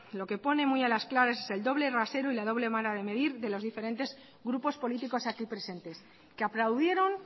lo que pone muy a las claras es el doble rasero y la doble vara de medir de los diferentes grupos políticos aquí presentes que aplaudieron